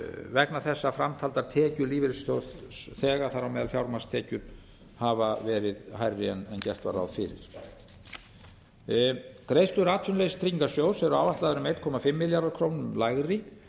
vegna þess að framtaldar tekjur lífeyrisþega þar á meðal fjármagnstekjur hafa verið hærri en gert var ráð fyrir greiðslur atvinnuleysistryggingasjóðs eru áætlaðar um einn komma fimm milljörðum króna lægri